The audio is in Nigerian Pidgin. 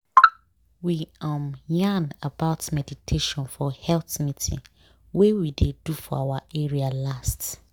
we um yarn about meditation for health meeting wey we dey do for our area last.